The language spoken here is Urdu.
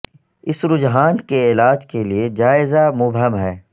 اس رجحان کے علاج کے لئے جائزہ مبہم ہے